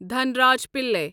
Dhanraj Pillay